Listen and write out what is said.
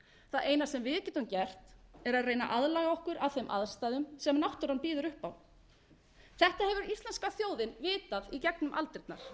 það eina sem við getum gert er að reyna að aðlaga okkur að þeim aðstæðum sem náttúran býður upp á þetta hefur íslenska þjóðin vitað í gegnum aldirnar